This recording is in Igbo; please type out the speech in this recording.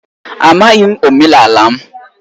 Amaghị m omenala m.